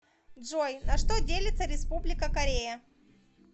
джой на что делится республика корея